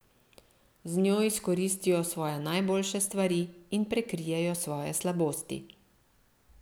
Z njo izkoristijo svoje najboljše stvari in prekrijejo svoje slabosti.